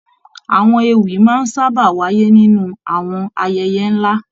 Àwọn ewì máa ń sábà wáyé nínú àwọn ayẹyẹ nlá.